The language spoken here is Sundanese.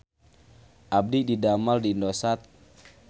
Abdi didamel di Indosat